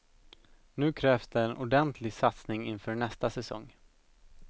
Nu krävs det en ordentlig satsning inför nästa säsong.